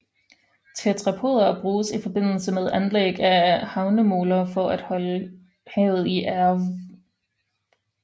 Tetrapoder bruges i forbindelse med anlæg af havnemoler for at holde havet i ave